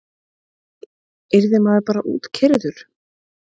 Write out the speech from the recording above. Yrði maður bara útkeyrður?